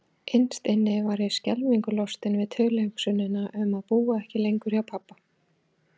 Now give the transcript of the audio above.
Innst inni var ég skelfingu lostin við tilhugsunina um að búa ekki lengur hjá pabba.